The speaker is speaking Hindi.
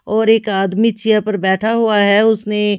और एक आदमी चेयर पर बैठा हुआ है उसने--